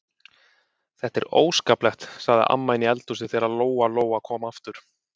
Þetta er óskaplegt, sagði amma inni í eldhúsi þegar Lóa-Lóa kom aftur.